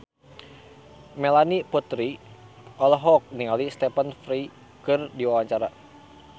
Melanie Putri olohok ningali Stephen Fry keur diwawancara